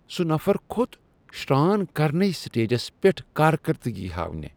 سُہ نفر كھوٚت شران كرنے سٹیجس پیٹھ كاركردگی ہاونہِ ۔